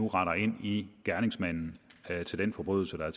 render ind i gerningsmanden til den forbrydelse der er